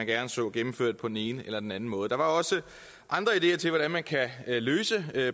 gerne så gennemført på den ene eller den anden måde der var også andre ideer til hvordan man kan løse